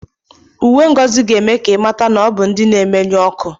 Uwe Ngozi ga-eme ka ịmata na ọbụ ndị na-emenyụ ọkụ